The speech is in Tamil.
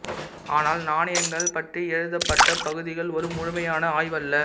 ஆனால் நாணயங்கள் பற்றி எழுதப்பட்ட பகுதிகள் ஒரு முழுமையான ஆய்வல்ல